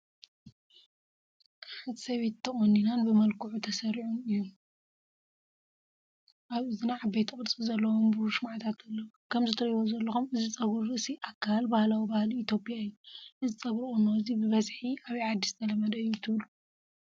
ሓንቲ ሰበይቲ ተቆኒናን ብምልኩዕ ተሰሪዑን እዩ። ኣብ እዝና ዓበይቲ ቅርጺ ዘለዎም ብሩር ሽምዓታት ኣለዋ። ከምቲ ትርእይዎ ዘለኹም እዚ ፀጉሪ ርእሲ ኣካል ባህላዊ ባህሊ ኢትዮጵያ እዩ፡፡ እዚ ጸጉሪ ቁኖ እዚ ብበዝሒ ኣበይ ዓዲ ዝተለመደ እዩ ትብሉ?